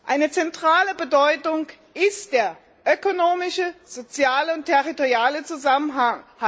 Eine zentrale Bedeutung ist der ökonomische, soziale und territoriale Zusammenhalt.